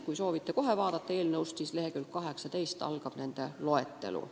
Kui soovite kohe seletuskirjast vaadata, siis leheküljelt 18 algab nende loetelu.